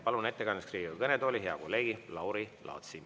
Palun ettekandeks Riigikogu kõnetooli hea kolleegi Lauri Laatsi.